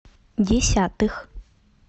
десятых